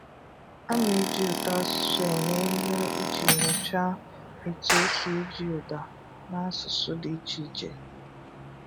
A na-eji ụtọasụsụ eme ihe iji nyochaa etu e si eji ụda na asụsụ dị iche iche.